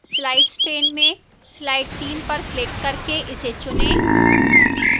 slides pane में slide 3 पर click करके इसे चुनें